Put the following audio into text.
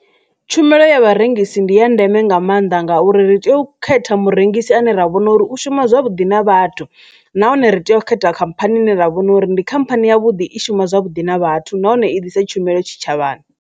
Tshumelo ya vharengisi ndi ya ndeme nga maanḓa ngauri ri tea u khetha murengisi ane ra vhona uri u shuma zwavhuḓi na vhathu nahone ri tea u ita khamphani ni ra vhona uri ndi khamphani ya vhuḓi i shuma zwavhuḓi na vhathu nahone i ḓisa tshumelo tshitshavhani.